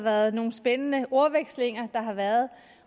været nogle spændende ordvekslinger der har været